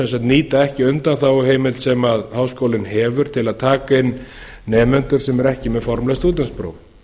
sem sagt nýta ekki undanþáguheimild sem háskólinn hefur til að taka inn nemendur sem eru ekki með formleg stúdentspróf